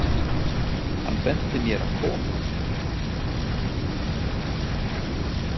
Hann benti mér að koma?